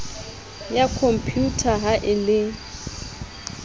ya khompyutha ha e le